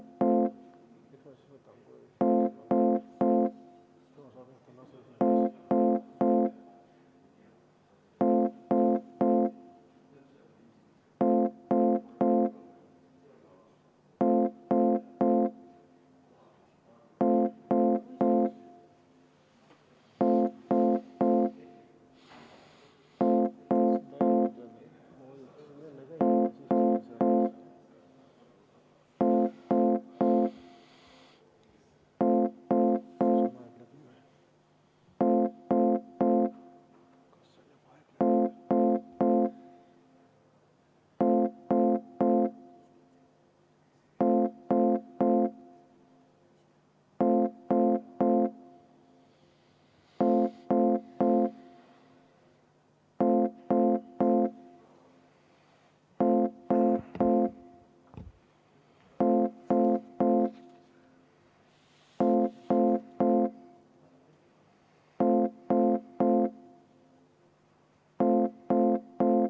Nüüd võime põhimõtteliselt hääletamise juurde minna, aga Rene Kokal on käsi püsti, tal on enne protseduuriline küsimus.